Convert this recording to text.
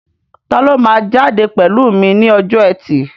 Taló máa jáde pẹ̀lú mi ní ọjọ́ ẹtì?